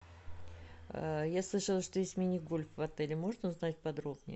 я слышала что есть мини гольф в отеле можно узнать подробнее